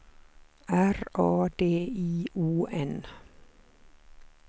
R A D I O N